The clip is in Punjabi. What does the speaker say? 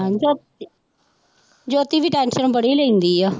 ਜੋ ਜੋਤੀ ਵੀ tension ਬੜੀ ਲੈਂਦੀ ਆ।